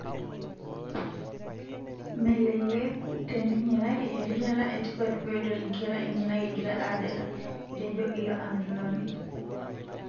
Meleleku teninye kake erishata e tipat pedol nkera enyenak egira adala''Etejo ilo amitunoni.